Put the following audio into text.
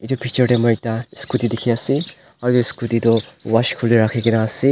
itu picture tey moi ekta scooty ekta dikhi ase aru edu scooty du wash kuri wole rakhi na ase.